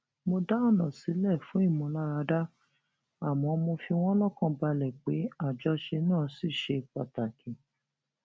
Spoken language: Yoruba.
mo dá ònà sílè fún ìmúláradá àmó mo fi wón lókàn balè pé àjọṣe náà ṣì ṣe pàtàkì